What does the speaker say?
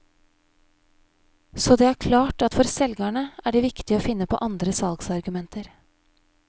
Så det er klart at for selgerne er det viktig å finne på andre salgsargumenter.